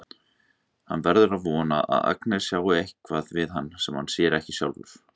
Hann verður að vona að Agnes sjái eitthvað við hann sem hann sér ekki sjálfur.